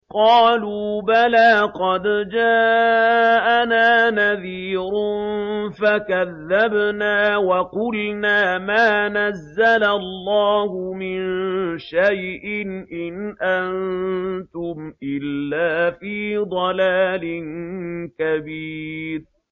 قَالُوا بَلَىٰ قَدْ جَاءَنَا نَذِيرٌ فَكَذَّبْنَا وَقُلْنَا مَا نَزَّلَ اللَّهُ مِن شَيْءٍ إِنْ أَنتُمْ إِلَّا فِي ضَلَالٍ كَبِيرٍ